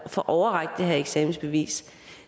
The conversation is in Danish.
få overrakt det her eksamensbevis